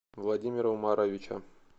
владимира умаровича